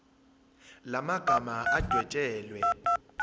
la magama adwetshelwe